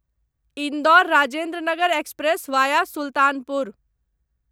Indore Rajendranagar express via Sultanpur